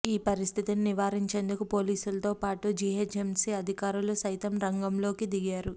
ఈ పరిస్థితిని నివారించేందుకు పోలీసుల తోపాటు జీహెచ్ఎంసీ అధికారులు సైతం రంగంలోకి దిగారు